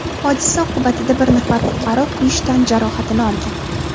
Hodisa oqibatida bir nafar fuqaro kuyish tan jarohatini olgan.